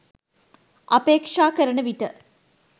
අපේක්ෂා කරන විට